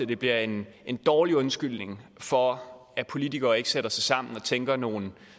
de bliver en en dårlig undskyldning for at politikere ikke sætter sig sammen og tænker nogle